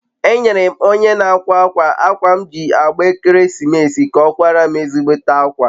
enyere m onye n'akwa akwa akwa m ji agba ekeresimeesi ka o kwara m ezigbote akwa